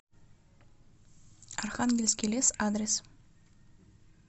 архангельский лес адрес